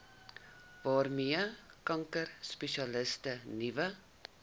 waarmee kankerspesialiste nuwe